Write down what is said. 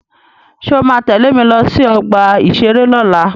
Ṣé o ma tẹ́lẹ̀ mi lọ sí ọgbà-ìṣeré lọ́la?